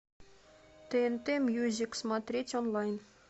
тнт мьюзик смотреть онлайн